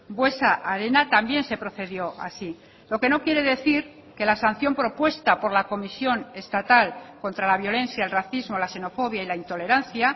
buesa arena también se procedió así lo que no quiere decir que la sanción propuesta por la comisión estatal contra la violencia el racismo la xenofobia y la intolerancia